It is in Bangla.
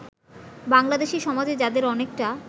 বাংলাদেশী সমাজে যাদের অনেকটা